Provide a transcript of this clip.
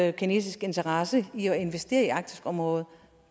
at kinesisk interesse i at investere i arktisområdet